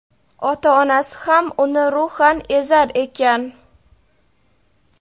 ota-onasi ham uni ruhan ezar ekan.